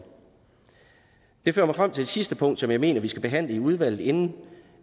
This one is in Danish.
det fører mig frem til et sidste punkt som jeg mener at vi skal behandle i udvalget inden